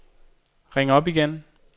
ring op igen